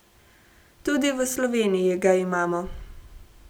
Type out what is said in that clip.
Tudi v Sloveniji ga imamo.